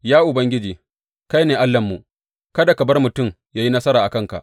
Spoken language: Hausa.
Ya Ubangiji, kai ne Allahnmu; kada ka bar mutum yă yi nasara a kanka.